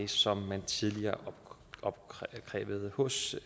som man tidligere opkrævede hos